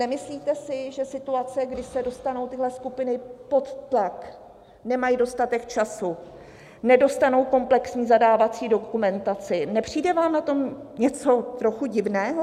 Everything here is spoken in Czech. Nemyslíte si, že situace, kdy se dostanou tyhle skupiny pod tlak, nemají dostatek času, nedostanou komplexní zadávací dokumentaci, nepřijde vám na tom něco trochu divného?